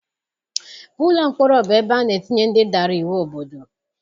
Ụlọ mkpọrọ bụ ebe ana etinye ndị dara iwu obodo.